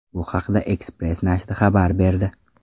Bu haqda Express nashri xabar berdi.